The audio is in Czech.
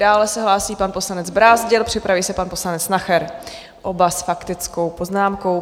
Dále se hlásí pan poslanec Brázdil, připraví se pan poslanec Nacher, oba s faktickou poznámkou.